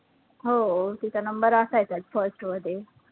हो तिचा number असायचाचं first मध्ये